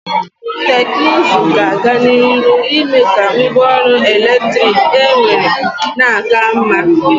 Teknuzu ga-aga n'iru ime ka ngwa ọrụ eletrik enwere na-aka mma.